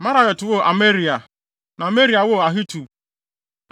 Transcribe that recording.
Meraiot woo Amaria, na Amaria woo Ahitub.